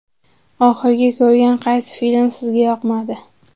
Oxirgi ko‘rgan qaysi film sizga yoqmadi?.